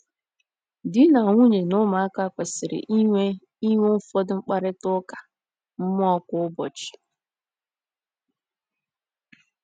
Di na nwunye na ụmụaka kwesịrị inwe inwe ụfọdụ mkparịta ụka mmụọ kwa ụbọchị.